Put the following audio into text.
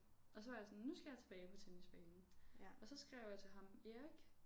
Og så var jeg sådan nu skal jeg tilbage på tennisbanen og så skrev jeg til ham Erik